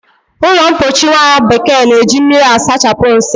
Ụlọmpochi nwabekee na-eji mmiri asachapụ nsị